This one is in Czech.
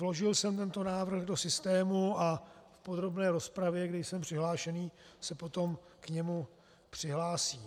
Vložil jsem tento návrh do systému a v podrobné rozpravě, kde jsem přihlášený, se potom k němu přihlásím.